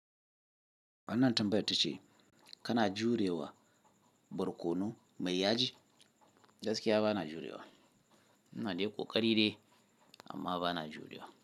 Wannan tambayar tace kana jurewa barkono mai yaji? Gaskiya ba na jurewa. Ina dai kokari dai amma ba na jurewa.